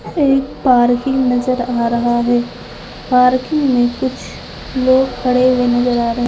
एक पार्किंग नजर आ रहा हैं पार्किंग में कुछ लोग खड़े हुए नजर आ रहे हैं ।